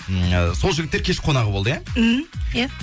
ммм сол жігіттер кеш қонағы болды иә мхм иә